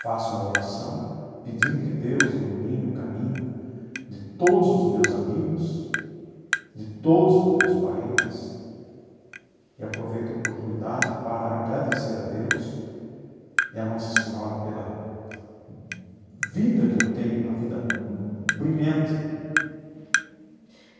faço uma oração pedindo que Deus ilumine o caminho de todos os meus amigos, de todos os meus parentes e aproveito a oportunidade para agradecer a Deus e a Nossa Senhora pela vida que eu tenho, uma vida brilhante.